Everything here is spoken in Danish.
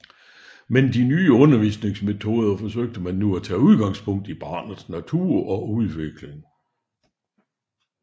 Men de nye undervisningsmetoder forsøgte man nu at tage udgangspunkt i barnets natur og udvikling